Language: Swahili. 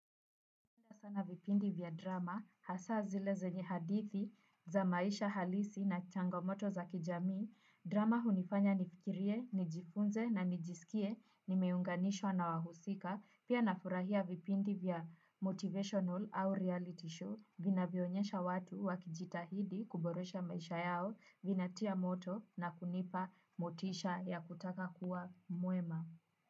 Sana vipindi vya drama, hasa zile zenye hadithi za maisha halisi na changomoto za kijamii drama hunifanya nifikirie, nijifunze na nijisikie, nimeunganishwa na wahusika, pia nafurahia vipindi vya motivational au reality show, vinavyoonyesha watu wakijitahidi kuboresha maisha yao, vinatia moto na kunipa motisha ya kutaka kuwa mwema.